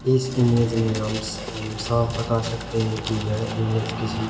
इस इमेज में हम स हम साफ बता सकते हैं कि यह इमेज किसी--